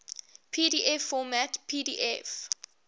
pdf format pdf